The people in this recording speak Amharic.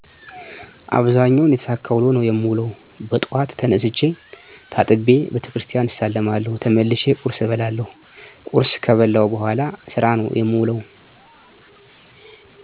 አብዛኛውን የተሳካ ውሎ ነው የምውለው። በጠዋት ተነስቸ ታጥቤ ቤተክርስቲያን እሳለማለሁ ተመልሸ ቆርስ እበላለሁ ከቁርስ በኋላ ስራ ነው የምውለሁ